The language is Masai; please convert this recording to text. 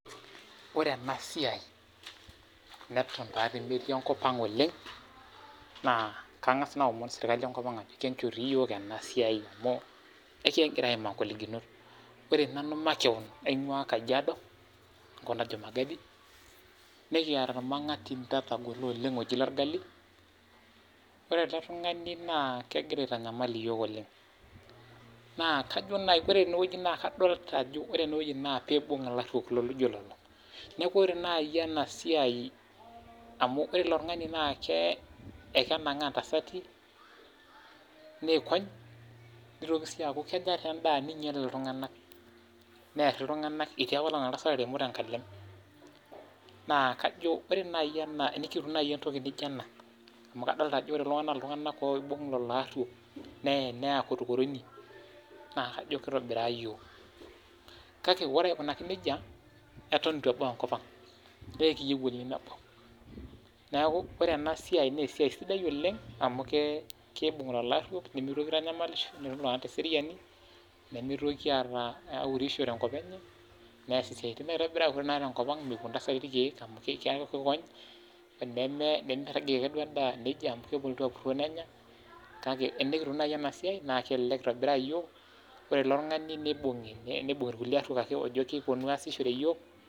Ore ena siai neton taadi metii enkop ang oleng, naa kangas aomon serkali enkop ang ajo enchoo dii yiok emna siai amu ekingira aimaa ngolikinot ore nanu makewon aingua kajiado, enkop najo magadi, nekiata ormangatinda otagolo oleng oji lorgali, ore ele tungani naa kegira aitanyamal iyiok oleng naa ore eneweji naa kadolita ajo ore eneweji naa peibung ilaruok loijo lelo. neeku ore naaji enasiai amu ore ilo tungani ekenangaa intasati neony ,neitoki sii aku kenyaa enda neinyal iltunganak neer iltunganak ,etii apaelong entasat nataremo tenkalem naa kajo tenikitum naaji entoki naijo ena amu kadolita ajo ore kulo na ltunganak oibung lelo aruok, neen neya korokoroni, naa kajo keitobira yiok ,kake ore aikunaki nejia, eton eitu ebau enkop ang naa ekiyieu oleng nebau. neeku ore ena siai naa esiai sidai oleng ,amu keibung lelo aruok ,nemitoki aitanyamalisho, netoni teseriani nemitokini aurisho nemitoki aata urisho tenkop enye ,ore tenkopang mepuo intasati irkeek amu keikony ,nemirajie sii endaa amu kelotu apuroo nenya, kake tenikitum naaji ena siai naa kelelek aitobiraa yiok, ore ilo tungani neibungi, neibungi irkulie aruok oolo keponu asishore yiok.